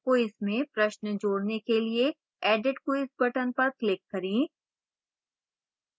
quiz में प्रश्न जोड़ने के लिए edit quiz button पर click करें